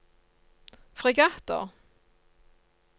fregatter